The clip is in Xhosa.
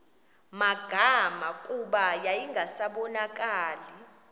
magama kuba yayingasabonakali